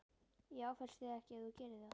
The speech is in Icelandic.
Ég áfellist þig ekki ef þú gerir það.